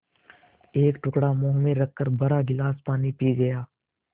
एक टुकड़ा मुँह में रखकर भरा गिलास पानी पी गया